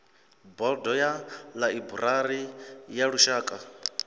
bodo ya ḽaiburari ya lushaka